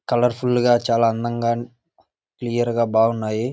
Colour full గా చాలా అందంగా క్లియర్ గా బాగున్నాయి.